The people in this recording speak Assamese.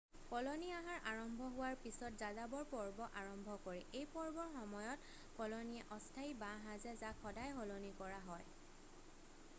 কলনী আহাৰ আৰম্ভ হোৱাৰ পিছত যাযাবৰ পৰ্ব আৰম্ভ কৰে এই পৰ্বৰ সময়ত কলনীয়ে অস্থায়ী বাঁহ সাজে যাক সদায় সলনি কৰা হয়